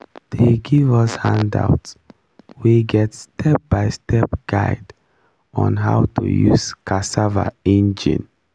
dey give us handout wey get step by step guide on how to use cassava engine